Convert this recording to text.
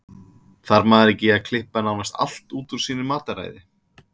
Þarf maður ekki að klippa nánast allt út úr sínu mataræði?